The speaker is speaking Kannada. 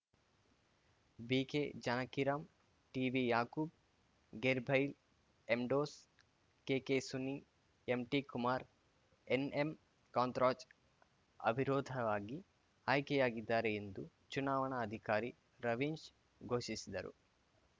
ಬಿಕೆ ಜಾನಕಿರಾಂ ಟಿವಿ ಯಾಕೂಬ್‌ ಗೇರ್‌ ಬೈಲ್‌ ಎಂಡೋಸ್‌ K K Suni M T Kumar N M Kantharaj ಅವಿರೋಧವಾಗಿ ಆಯ್ಕೆಯಾಗಿದ್ದಾರೆ ಎಂದು ಚುನಾವಣ ಅಧಿಕಾರಿ ರವೀಶ್‌ ಘೋಷಿಸಿದರು